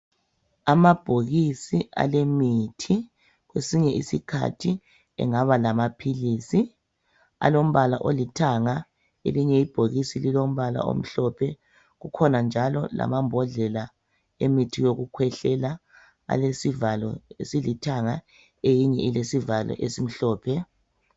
Amabhokisi alemithi. Kwesinye isikhathi engaba lamaphilisi alombala olithanga. Elinye ibhokisi lilombala omhlophe. Kukhona njalo lamambodlela emithi yokukhwehlela alesivalo esilithanga eyinye ilesivalo esimhlophe.